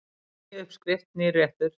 Ný uppskrift, nýr réttur.